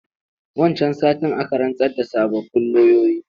Wancan satin aka rantsar da sababbin loyoyi.